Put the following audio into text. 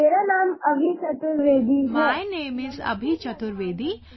"My name is Abhi Chaturvedi